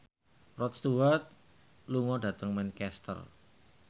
Rod Stewart lunga dhateng Manchester